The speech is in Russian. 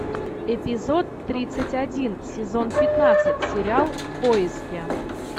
эпизод тридцать один сезон пятнадцать сериал в поиске